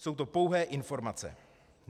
Jsou to pouhé informace.